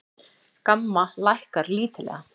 GAMMA lækkar lítillega